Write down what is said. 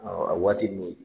Aa a waati min